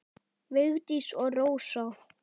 Vigdís og Rósa.